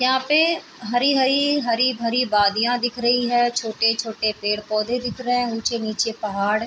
यहाँ पे हरी हरी हरी भरी बादिया दिख रही है छोटे छोटे पेड़ पौधे दिख रहे है ऊंचे नीचे पहाड़ --